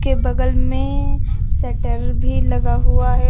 के बगल में शटर भी लगा हुआ है।